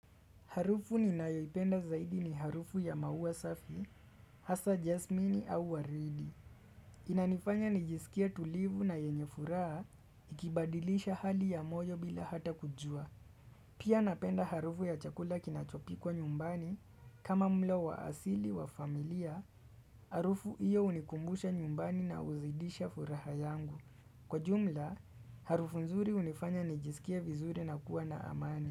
Harufu ni nayoipenda zaidi ni harufu ya maua safi, hasa jasmini au waridi. Inanifanya nijisikie tulivu na yenye furaha ikibadilisha hali ya moyo bila hata kujua. Pia napenda harufu ya chakula kinachopikwa nyumbani kama mlo wa asili wa familia, harufu iyo hunikumbusha nyumbani na huzidisha furaha yangu. Kwa jumla, harufu nzuri hunifanya nijisikie vizuri na kuwa na amani.